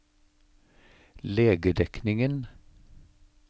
legedekningen